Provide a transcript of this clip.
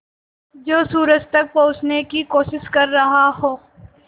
जो सूरज तक पहुँचने की कोशिश कर रहा हो